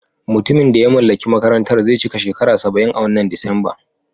Mutumin da ya mallaki makarantar zai cika shekara saba'in a wannan Disamba.